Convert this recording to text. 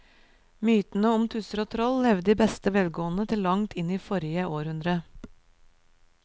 Mytene om tusser og troll levde i beste velgående til langt inn i forrige århundre.